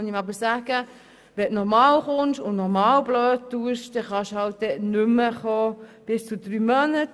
Aber man muss ihm sagen, dass er bis zu drei Monate lang nicht mehr kommen kann, wenn er sich noch einmal so aufführt.